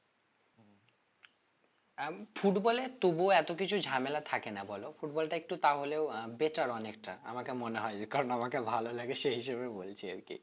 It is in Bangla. football এ তবুও এতো কিছু ঝামেলা থাকে না বলো football টা একটু তাহলেও আহ better অনেকটা আমাকে মনে হয়ে যে কারণ আমাকে ভালো লাগে সেই হিসেবে বলছি আর কি